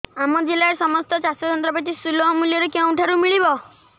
ଆମ ଜିଲ୍ଲାରେ ସମସ୍ତ ଚାଷ ଯନ୍ତ୍ରପାତି ସୁଲଭ ମୁଲ୍ଯରେ କେଉଁଠାରୁ ମିଳିବ